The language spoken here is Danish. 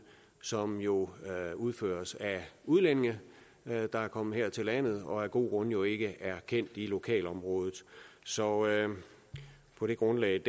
som jo udføres af udlændinge der er kommet her til landet og af gode grunde jo ikke er kendt i lokalområdet så på det grundlag